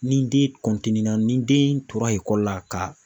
Ni den ni den tora ekɔli la ka